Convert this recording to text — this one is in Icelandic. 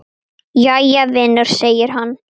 Jæja, vinur segir hann.